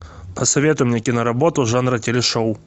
посоветуй мне киноработу жанра телешоу